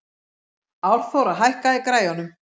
Árþóra, hækkaðu í græjunum.